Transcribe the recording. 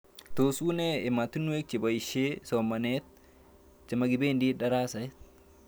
Tos unee ematinwek chepoishe somanet chemakipendi daraset